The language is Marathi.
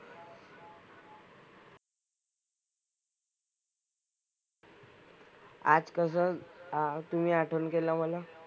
आज कसं अं आज तुम्ही आठवण केलं मला?